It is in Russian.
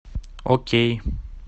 окей